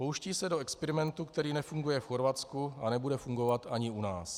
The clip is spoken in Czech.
Pouští se do experimentů, který nefunguje v Chorvatsku a nebude fungovat ani u nás.